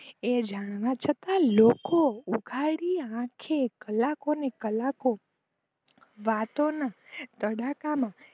એ જાણતા છતાં લોકો ઉઘાડી આખે કલાકો ને કલાકો વાતો ના તડાકામાં